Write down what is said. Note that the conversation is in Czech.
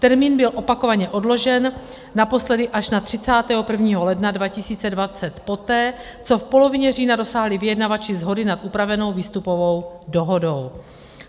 Termín byl opakovaně odložen, naposledy až na 31. ledna 2020, poté co v polovině října dosáhli vyjednavači shody nad upravenou výstupovou dohodou.